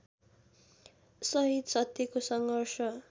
सहित सत्यको सङ्घर्ष